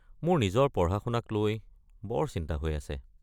মোৰ নিজৰ পঢ়া-শুনাক লৈ বৰ চিন্তা হৈ আছে।